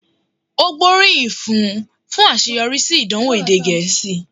Ó gbóríyìn fún un fún àṣeyọrí sí ìdánwò èdè Gẹ̀ẹ́sì